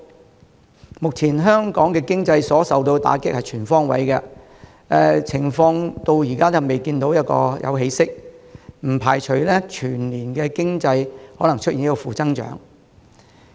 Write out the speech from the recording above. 陳司長形容，目前香港經濟所受的打擊是全方位的，而因情況至今尚未見起色，他不排除全年經濟可能出現負增長。